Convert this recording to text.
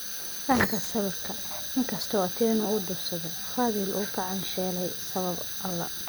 Fahamka sawirka, in kastaba Otieno uu dhuufsaday, Fadhili wuu ku caansheelay sabab alla.